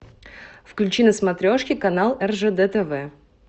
включи на смотрешке канал ржд тв